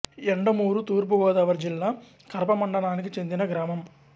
యండమూరు తూర్పు గోదావరి జిల్లా కరప మండలానికి చెందిన గ్రామం